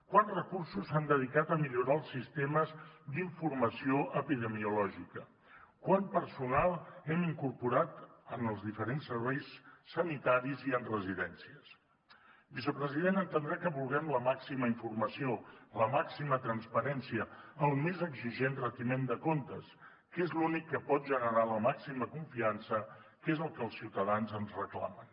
quants recursos s’han dedicat a millorar els sistemes d’informació epidemiològica quant personal hem incorporat en els diferents serveis sanitaris i en residències vicepresident entendrà que vulguem la màxima informació la màxima transparència el més exigent retiment de comptes que és l’únic que pot generar la màxima confiança que és el que els ciutadans ens reclamen